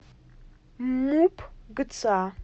муп гца